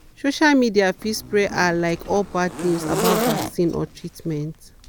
social media fit spread ah like all bad news about vaccines or treatment.